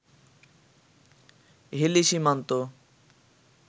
Hili Simanta